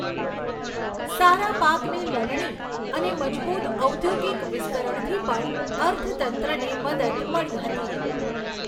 સારા પાકની લણણી અને મજબૂત ઔદ્યોગિક વિસ્તરણથી પણ અર્થતંત્રને મદદ મળી હતી.